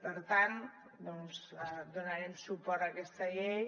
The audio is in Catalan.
per tant doncs donarem suport a aquesta llei